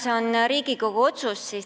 See on Riigikogu otsus.